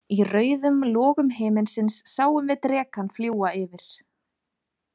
Í rauðum logum himinsins sáum við drekann fljúga yfir.